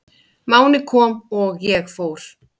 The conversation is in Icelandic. Máni kom og ég fór.